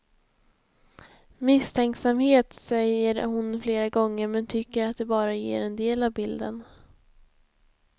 Misstänksamhet, säger hon flera gånger men tycker att det bara ger en del av bilden.